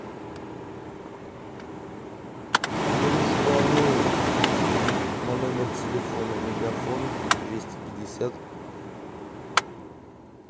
дружбану на номер телефона мегафон двести пятьдесят